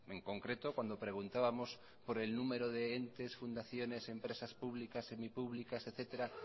en concreto cuando preguntábamos por el número de entes fundaciones empresas públicas semipúblicas etcétera